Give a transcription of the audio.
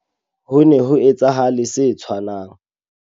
Ho ne ho etsahale se tshwanang.